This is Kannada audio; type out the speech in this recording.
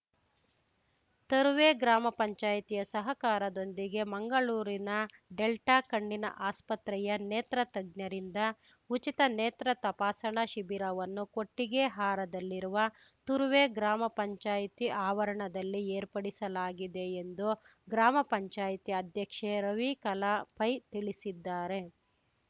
ತರುವೆ ಗ್ರಾಮ ಪಂಚಾಯಿತಿಯ ಸಹಕಾರದೊಂದಿಗೆ ಮಂಗಳೂರಿನ ಡೆಲ್ಟಾಕಣ್ಣಿನ ಆಸ್ಪತ್ರೆಯ ನೇತ್ರ ತಜ್ಞರಿಂದ ಉಚಿತ ನೇತ್ರ ತಪಾಸಣಾ ಶಿಬಿರವನ್ನು ಕೊಟ್ಟಿಗೆಹಾರದಲ್ಲಿರುವ ತರುವೆ ಗ್ರಾಮ ಪಂಚಾಯತಿ ಆವರಣದಲ್ಲಿ ಏರ್ಪಡಿಸಲಾಗಿದೆ ಎಂದು ಗ್ರಾಮ ಪಂಚಾಯತಿ ಅಧ್ಯಕ್ಷೆ ರವಿಕಲಾ ಪೈ ತಿಳಿಸಿದ್ದಾರೆ